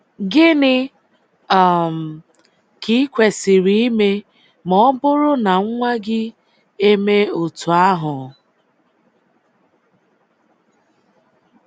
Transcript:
Gịnị um ka i kwesịrị ime ma ọ bụrụ na nwa gị emee otu ahụ?